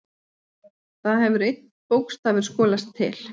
Þar hefur einn bókstafur skolast til.